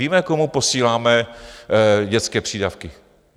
Víme, komu posíláme dětské přídavky.